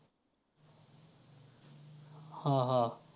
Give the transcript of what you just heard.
हां हां.